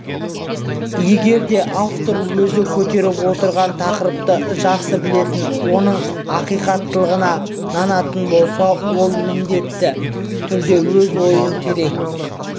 егерде автор өзі көтеріп отырған тақырыпты жақсы білетін оның ақиқаттығына нанатын болса ол міндетті түрде өз ойын терең